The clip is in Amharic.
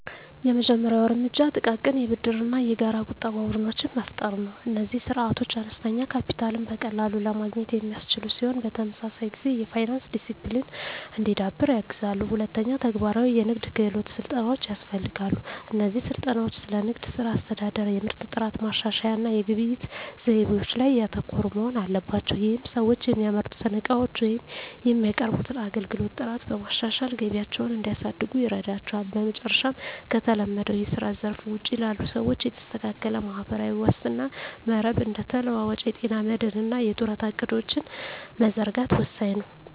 የመጀመሪያው እርምጃ ጥቃቅን የብድርና የጋራ ቁጠባ ቡድኖችን መፍጠር ነው። እነዚህ ስርዓቶች አነስተኛ ካፒታልን በቀላሉ ለማግኘት የሚያስችሉ ሲሆን፣ በተመሳሳይ ጊዜ የፋይናንስ ዲሲፕሊን እንዲዳብር ያግዛሉ። ሁለተኛ፣ ተግባራዊ የንግድ ክህሎት ስልጠናዎች ያስፈልጋሉ። እነዚህ ስልጠናዎች ስለ ንግድ ሥራ አስተዳደር፣ የምርት ጥራት ማሻሻያ እና የግብይት ዘይቤዎች ላይ ያተኮሩ መሆን አለባቸው። ይህም ሰዎች የሚያመርቱትን ዕቃዎች ወይም የሚያቀርቡትን አገልግሎት ጥራት በማሻሻል ገቢያቸውን እንዲያሳድጉ ይረዳቸዋል። በመጨረሻም፣ ከተለመደው የስራ ዘርፍ ውጪ ላሉ ሰዎች የተስተካከለ ማህበራዊ ዋስትና መረብ (እንደ ተለዋዋጭ የጤና መድህን እና የጡረታ ዕቅዶች) መዘርጋት ወሳኝ ነው።